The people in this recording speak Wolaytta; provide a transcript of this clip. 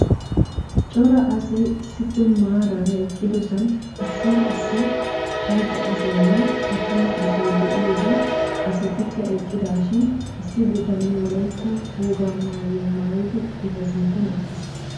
cora asay issippe maaraara eqqidosaan issi issi macca asaynne attuma asay de'iyoode asatikka eqqidaashin issi bitanee wollaytta wogaa mayuwaa maayidi eta sinttan eqqiis.